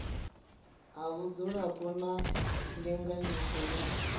ha vhudzulapo na ndinganyiso ya